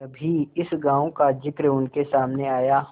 कभी इस गॉँव का जिक्र उनके सामने आया